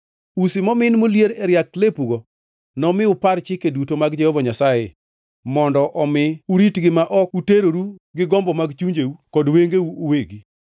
Usi momin molier e riak lepugo nomi unupar chike duto mag Jehova Nyasaye, mondo omi uritgi ma ok uteroru gi gombo mag chunjeu kod wengeu uwegi.